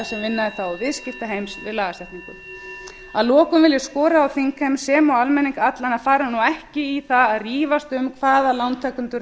sem vinna þetta og viðskiptaheims við lagasetninguna að lokum vil ég skora á þingheim sem og almenning allan að fara ekki í það að rífast um hvaða lántakendur